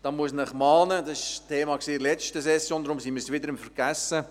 Dies war ein Thema an der letzten Session, deshalb sind wir dabei, es wieder zu vergessen.